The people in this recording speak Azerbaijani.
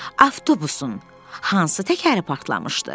Avtobusun hansı təkəri partlamışdı?